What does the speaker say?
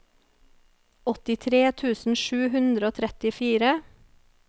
åttitre tusen sju hundre og trettifire